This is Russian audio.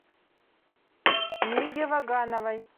миге вагановой